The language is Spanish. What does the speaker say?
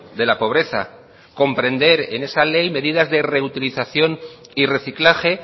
de la pobreza comprender en esa ley medidas de reutilización y reciclaje